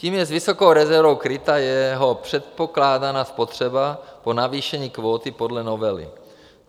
Tím je s vysokou rezervou kryta jeho předpokládaná spotřeba po navýšení kvóty podle novely.